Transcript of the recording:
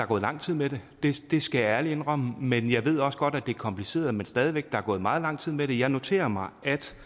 gået lang tid med det det skal jeg ærligt indrømme men jeg ved også godt at det er kompliceret men stadig væk der er gået meget lang tid med det jeg noterer mig